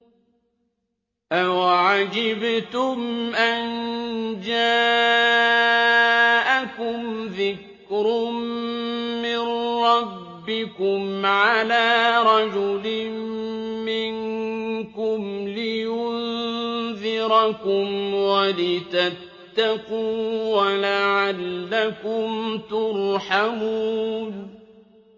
أَوَعَجِبْتُمْ أَن جَاءَكُمْ ذِكْرٌ مِّن رَّبِّكُمْ عَلَىٰ رَجُلٍ مِّنكُمْ لِيُنذِرَكُمْ وَلِتَتَّقُوا وَلَعَلَّكُمْ تُرْحَمُونَ